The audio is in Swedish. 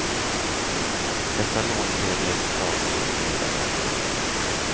Dessa lån blev i ett slag mycket dyrare.